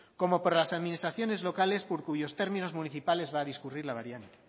como por las administraciones locales por cuyos términos municipales va a discurrir la variante